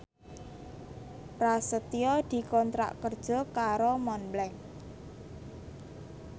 Prasetyo dikontrak kerja karo Montblanc